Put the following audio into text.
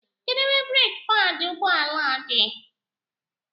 Kedu ebe breeki paadi ụgbọ ala dị?